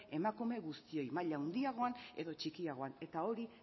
emakume guztioi maila handiagoan edo txikiagoan eta hori